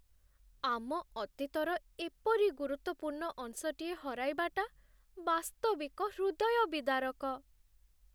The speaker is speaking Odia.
ଆମ ଅତୀତର ଏପରି ଗୁରୁତ୍ୱପୂର୍ଣ୍ଣ ଅଂଶଟିଏ ହରାଇବାଟା ବାସ୍ତବିକ ହୃଦୟବିଦାରକ।